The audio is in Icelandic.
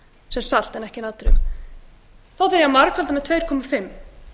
sem salt en ekki natríum þá þarf ég að margfalda með tuttugu og fimm